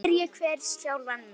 Spyrji hver sjálfan sig.